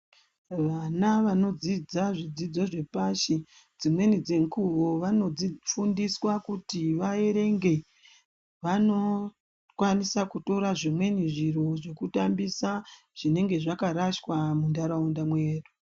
Vana vanodzidza zvidzidzo zvepashi dzimweni dzenguwo vanofundiswa kuti vaerenge vanokwanisa kutora zvimweni zviro zvekutambisa zvinenge zvakarashwa muntaraunda mwedu.